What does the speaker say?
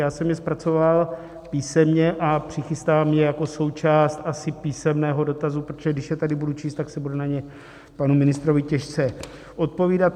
Já jsem je zpracoval písemně a přichystám je jako součást asi písemného dotazu, protože když je tady budu číst, tak se bude na ně panu ministrovi těžce odpovídat.